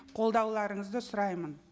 қолдауларыңызды сұраймын